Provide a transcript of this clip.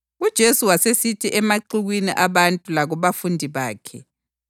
UJesu wasesithi emaxukwini abantu lakubafundi bakhe: